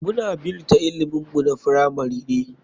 Muna bnita ilimin mu na firamari ne.